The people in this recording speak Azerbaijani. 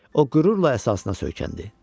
O qürurla əsasına söykəndi.